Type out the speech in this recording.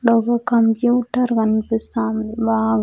Computer కనిపిస్తాంది wow .